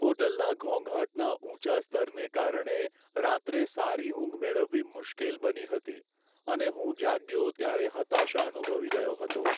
હોટલના ઘોંઘાટના ઊંચા સ્તરને કારણે રાત્રે સારી ઊંઘ મેળવવી મુશ્કેલ બની હતી, અને હું જાગ્યો ત્યારે હતાશા અનુભવી રહ્યો હતો.